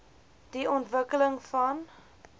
die ontwikkeling van